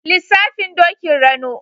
Lissafin Dokin Rano.